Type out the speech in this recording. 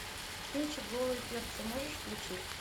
кинчик голые перцы можешь включить